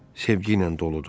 Sevgi ilə doludur.